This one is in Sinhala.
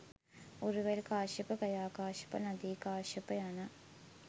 උරුවෙල් කාශ්‍යප, ගයාකාශ්‍යප, නදීකාශ්‍යප යන